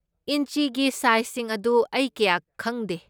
ꯏꯟꯆꯤꯒꯤ ꯁꯥꯏꯖꯁꯤꯡ ꯑꯗꯨ ꯑꯩ ꯀꯌꯥ ꯈꯪꯗꯦ꯫